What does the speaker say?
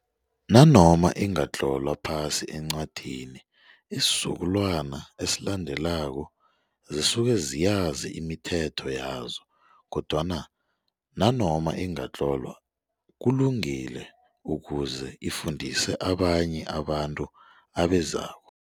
Nanoma ingatlolwa phasi encwadini isizukulwana esilandelako zisuke ziyazi imithetho yazo kodwana nanoma ingatlolwa kulungile ukuze ifundise abanye abantu abezako.